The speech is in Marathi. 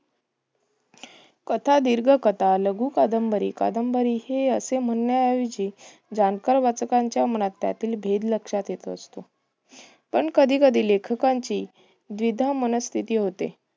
कथा, दीर्घकथा, लघुकादंबरी, कादंबरी हे असे म्हणण्या ऐवजी जाणकार वाचकांच्या मनात त्यातील भेद लक्षात येत असतो. पण कधी कधी लेखकांची द्विधा मनस्थिती होते.